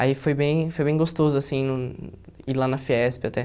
Aí foi bem foi bem gostoso assim ir lá na Fiesp até.